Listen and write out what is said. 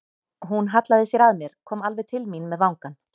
Hún hallaði sér að mér, kom alveg til mín með vangann.